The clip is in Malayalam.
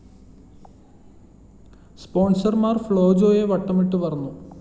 സ്‌പോൺസർമാർ ഫ്‌ളോ ജോയെ വട്ടമിട്ട് പറന്നു